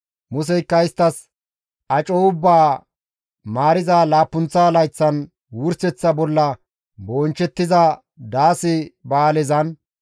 Museykka isttas, «Aco ubbaa maariza laappunththa layththan wurseththa bolla bonchchettiza daase ba7aalezan,